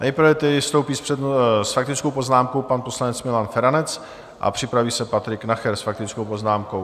Nejprve tedy vystoupí s faktickou poznámkou pan poslanec Milan Feranec a připraví se Patrik Nacher s faktickou poznámkou.